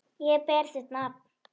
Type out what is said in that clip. Ég ber þitt nafn.